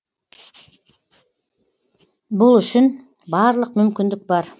бұл үшін барлық мүмкіндік бар